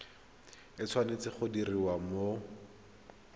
e tshwanetse go diriwa mo